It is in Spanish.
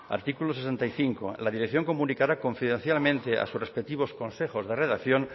artículo sesenta y cinco la dirección comunicará confidencialmente a sus respectivos consejos de redacción